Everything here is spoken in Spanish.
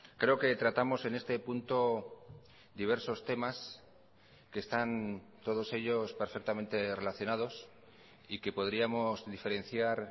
creo que tratamos en este punto diversos temas que están todos ellos perfectamente relacionados y que podríamos diferenciar